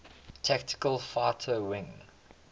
tactical fighter wing